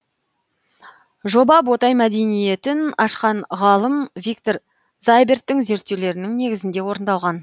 жоба ботай мәдениетін ашқан ғалым виктор зайберттің зерттеулерінің негізінде орындалған